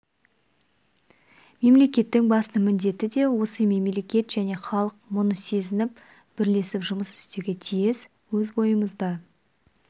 мемлекеттің басты міндеті де осы мемлекет және халық мұны сезініп бірлесіп жұмыс істеуге тиіс өз бойымызда